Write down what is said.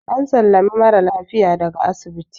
an sallami mara lafiya daga asibiti